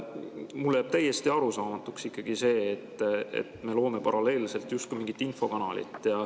Mulle jääb ikkagi täiesti arusaamatuks see, et me loome paralleelselt justkui mingit infokanalit.